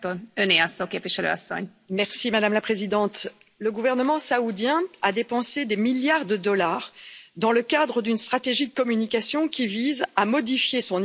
Madame la Présidente, le gouvernement saoudien a dépensé des milliards de dollars dans le cadre d'une stratégie de communication visant à améliorer son image auprès de la communauté internationale.